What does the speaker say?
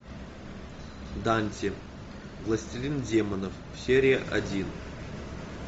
данте властелин демонов серия один